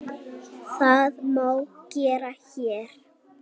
Það má gera HÉR.